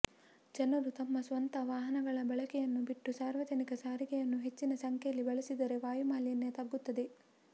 ಜನರು ತಮ್ಮ ಸ್ವಂತ ವಾಹನಗಳ ಬಳಕೆಯನ್ನು ಬಿಟ್ಟು ಸಾರ್ವಜನಿಕ ಸಾರಿಗೆಯನ್ನು ಹೆಚ್ಚಿನ ಸಂಖ್ಯೆಯಲ್ಲಿ ಬಳಸಿದರೆ ವಾಯುಮಾಲಿನ್ಯ ತಗ್ಗುತ್ತದೆ